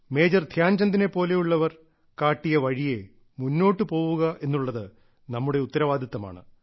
major ധ്യാൻചന്ദിനെ പോലെയുള്ളവർ കാട്ടിയ വഴിയേ മുന്നോട്ടുപോകുക എന്നുള്ളത് നമ്മുടെ ഉത്തരവാദിത്തമാണ്